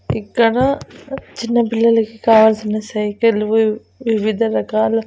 ఇక్కడ చిన్న పిల్లలకి కావల్సిన సైకిల్ వివ్ వివిధ రకాల--